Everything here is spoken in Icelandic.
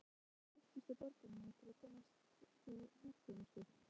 Ungir Þjóðverjar flykktust til borgarinnar til að komast hjá herþjónustu.